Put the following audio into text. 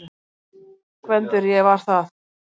GVENDUR: Ég var það!